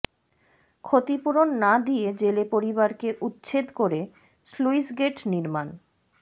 ক্ষতিপূরণ না দিয়ে জেলে পরিবারকে উচ্ছেদ করে স্লুইসগেট নির্মাণ